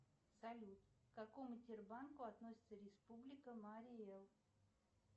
салют к какому тербанку относится республика марий эл